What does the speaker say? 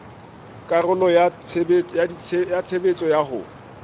karolo ya tshebetso ya ho